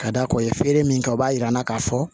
Ka da kan feere min kɛ o b'a yira n'a ka fɔ